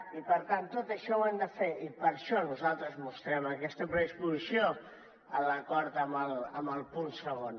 i per tant tot això ho hem de fer i per això nosaltres mostrem aquesta predisposició en l’acord en el punt segon